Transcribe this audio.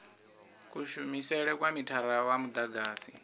kushumele kwa mithara wa mudagasi